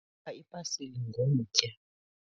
bopha ipasile ngomtya